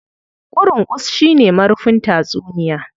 Ƙurungus shi ne marufin tatsuniya.